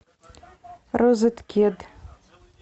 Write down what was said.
розеткед